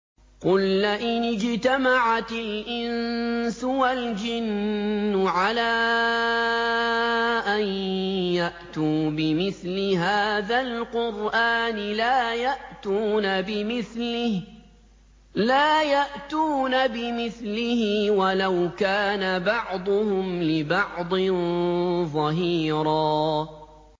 قُل لَّئِنِ اجْتَمَعَتِ الْإِنسُ وَالْجِنُّ عَلَىٰ أَن يَأْتُوا بِمِثْلِ هَٰذَا الْقُرْآنِ لَا يَأْتُونَ بِمِثْلِهِ وَلَوْ كَانَ بَعْضُهُمْ لِبَعْضٍ ظَهِيرًا